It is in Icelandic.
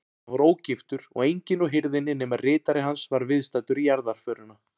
Hann var ógiftur og enginn úr hirðinni nema ritari hans var viðstaddur jarðarförina.